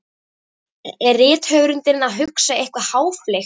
Er rithöfundurinn að hugsa eitthvað háfleygt?